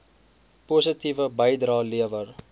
positiewe bydrae lewer